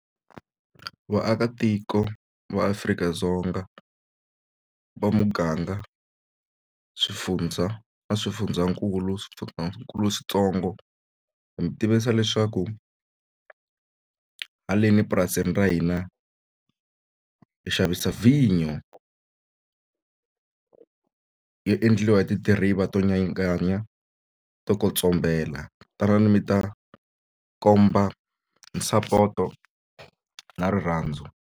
Vaakatiko va Afrika-Dzonga va muganga swifundza na swifundzankulu switsongo hi mi tivisa leswaku haleni epurasini ra hina hi xavisa vhinyo yo endliwa hi tidiriva to nyanganya to tanani mi ta komba sapoto na rirhandzu.